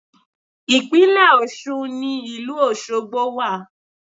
Ìpínlẹ̀ Ọ̀ṣun ni ìlú Ọ̀ṣọgbo wà